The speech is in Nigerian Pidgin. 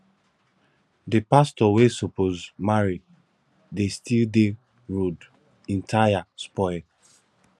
the pastor wey suppose marry de still dey road im tire spoil